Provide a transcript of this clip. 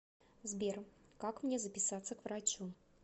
сбер как мне записаться к врачу